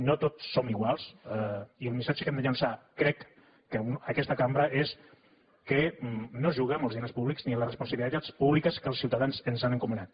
no tots som iguals i el missatge que hem de llançar crec a aquesta cambra és que no es juga amb els diners públics ni amb les responsabilitats públiques que els ciutadans ens han encomanat